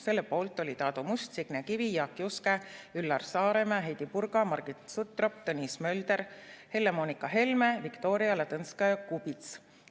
Selle poolt olid Aadu Must, Signe Kivi, Jaak Juske, Üllar Saaremäe, Heidy Purga, Margit Sutrop, Tõnis Mölder, Helle-Moonika Helme ja Viktoria Ladõnskaja-Kubits.